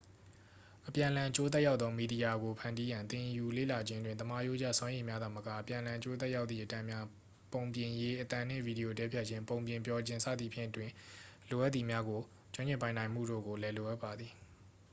အပြန်အလှန်အကျိုးသက်ရောက်သောမီဒီယာကိုဖန်တီးရန် သင်ယူလေ့လာခြင်းတွင် သမားရိုးကျ စွမ်းရည်များသာမက အပြန်အလှန်အကျိုးသက်ရောက်သည့်အတန်းများ ပုံပြင်ရေးခြင်း၊ အသံနှင့်ဗီဒီယိုတည်းဖြတ်ခြင်း၊ ပုံပြင်ပြောခြင်း၊ စသည်ဖြင့် တွင် လိုအပ်သည်များကို ကျွမ်းကျင်ပိုင်နိုင်မှုတို့ကိုလည်း လိုအပ်ပါသည်။